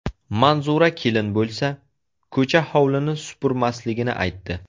Manzura kelin bo‘lsa, ko‘cha-hovlini supurmasligini aytdi.